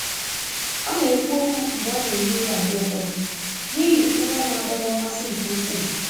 Ọ na-ekwu okwu mgbe ọ na-ehi ụra mgbe ụfọdụ n'ihi nrọ na-adọrọ mmasị nke ukwuu.